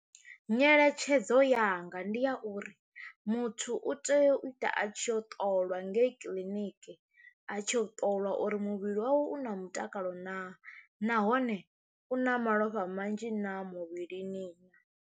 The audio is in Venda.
Nyeletshedzo yanga ndi ya uri muthu u tea u ita a tshi ya u ṱolwa ngei kiḽiniki a tshi u ṱoliwa uri muvhili wawe u na mutakalo na nahone u na malofha manzhi naa muvhilini naa.